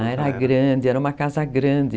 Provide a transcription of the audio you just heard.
Ah, era grande, era uma casa grande.